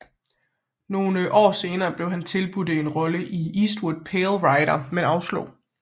Nogle år senere blev han tilbudt en rolle i Eastwoods Pale Rider men afslog